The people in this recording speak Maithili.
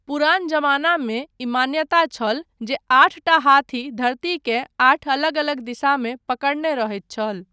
पुरान जमानामे ई मान्यता छल जे आठटा हाथी धरतीकेँ आठ अलग अलग दिशामे पकड़ने रहैत छल।